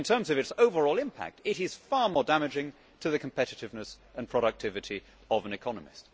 But in terms of its overall impact, it is far more damaging to the competitiveness and productivity of an economy.